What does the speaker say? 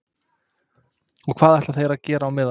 Og hvað ætla þeir að gera á meðan?